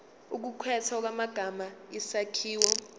ukukhethwa kwamagama isakhiwo